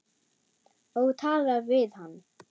Og talar við hann.